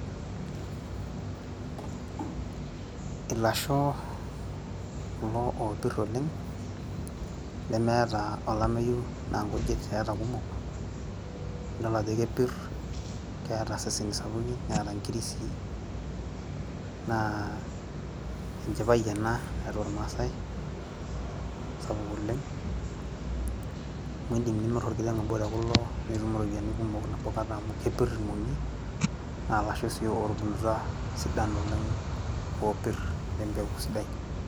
Ilasho kulo opirr oleng' lemeeta olameyu naa nkujit eeta kumok , nidolajo kepirr keeta iseseni sapukin ,neeta nkiri sii naa enchipai ena tiatua ilmaasae sapuk oleng, amu indim nimir orkiteng obo te kulo, nitum iropiyiani kumok nabo kata amu kepirr ilmong'i naa ilasho sii otubulutwa sidan oleng opirr le mpeku sidai.